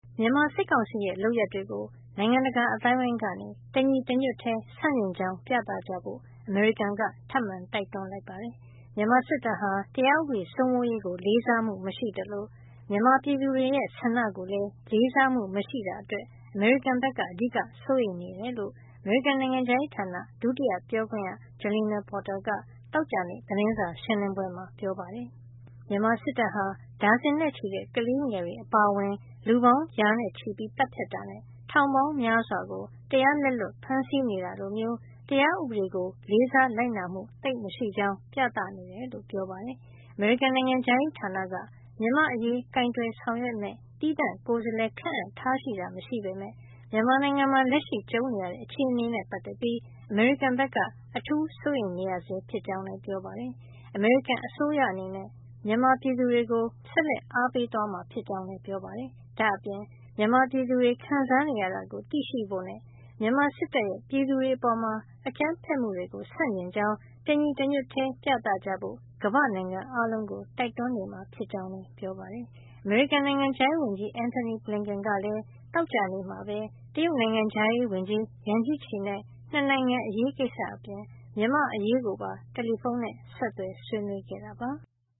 မြန်မာစစ်ကောင်စီရဲ့ လုပ်ရပ်တွေကို နိုင်ငံတကာ အသိုင်းအဝန်းက တညီတညွတ်တည်း ဆန့်ကျင်ကြောင်း ပြသကြဖို့ အမေရိကန်က ထပ်မံတိုက်တွန်းလိုက်ပါတယ်။ မြန်မာစစ်တပ်ဟာ တရားဥပေးစိုးမိုးရေးကို လေးစားမှု မရှိသလို မြန်မာပြည်သူတွေရဲ့ ဆန္ဒကိုလည်း လေးစားမှု မရှိတာ အတွက် အမေရိကန်ဘက်က အဓိက စိုးရိမ်နေတယ်လို့ အမေရိကန်နိုင်ငံခြားရေးဌာန ဒုတိယပြောခွင့်ရ Jalina Porter က သောကြာနေ့ သတင်းစာရှင်းလင်းပွဲမှာ ပြောပါတယ်။ မြန်မာစစ်တပ်ဟာ ဒါဇင်နဲ့ချီတဲ့ ကလေးငယ် တွေအပါအဝင် လူပေါင်းရာနဲ့ချီ သတ်ဖြတ်တာနဲ့ ထောင်ပေါင်းများစွာကို တရားလက်လွတ်ဖမ်းဆီးနေတာ လိုမျိုး တရားဥပဒေကို လေးစားလိုက်နာမှု သိပ်မရှိကြောင်း ပြသနေတယ်လို့ ပြောပါတယ်။ အမေရိကန်နိုင်ငံခြားရေးဌာနက မြန်မာအရေး ကိုင်တွယ်ဆောင်ရွက်မယ့် သီးသန့်ကိုယ်စားလှယ် ခန့်အပ်ထားတာ မရှိပေမယ့် မြန်မာနိုင်ငံမှာ လက်ရှိကြုံနေရတဲ့ အခြေနေနဲ့ ပတ်သက်ပြီး အမေရိကန်ဘက်က အထူးစိုးရိမ်နေဆဲဖြစ်ကြောင်း လည်း ပြောပါတယ်။ အမေရိကန်အစိုးရအနေနဲ့ မြန်မာပြည်သူတွေကို ဆက်လက် အားပေးသွားမှာ ဖြစ်ကြောင်းလည်း ပြောပါတယ်။ ဒါ့အပြင် မြန်မာပြည်သူတွေ ခံစားနေရတာကို သိရှိဖို့နဲ့ မြန်မာစစ်တပ်ရဲ့ ပြည်သူတွေအပေါ် အကြမ်းဖက်မှုတွေကို ဆန့်ကျင်ကြောင်း တညီတညွတ်ထည်း ပြသကြဖို့ ကမ္ဘာ့နိုင်ငံအားလုံးကို တိုက်တွန်းနေမှာ ဖြစ်ကြောင်းလည်း ပြောပါတယ်။ အမေရိကန်နိုင်ငံခြားရေးဝန်ကြီး Antony Blinken ကလည်း သောကြာနေ့မှာပဲ တရုတ်နိုင်ငံခြားရေးဝန်ကြီး Yang Jiechi နဲ့ ၂ နိုင်ငံအရေးကိစ္စအပြင် မြန်မာ့အရေးကိုပါ တယ်လီဖုန်းနဲ့ ဆက်သွယ် ဆွေးနွေးခဲ့တာပါ။